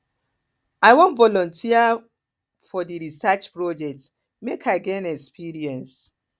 i wan volunteer for volunteer for di research project make i gain experience